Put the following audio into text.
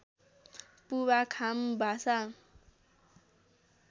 पुवा खाम भाषा